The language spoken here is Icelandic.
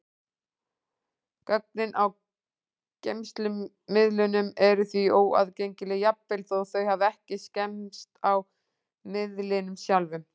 Gögnin á geymslumiðlunum eru því óaðgengileg, jafnvel þó þau hafi ekki skemmst á miðlinum sjálfum.